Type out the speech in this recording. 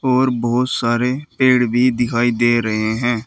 और बहुत सारे पेड़ भी दिखाई दे रहे है।